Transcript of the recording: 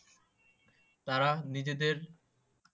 তারা নিজেদের